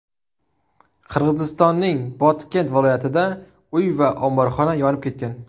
Qirg‘izistonning Botken viloyatida uy va omborxona yonib ketgan .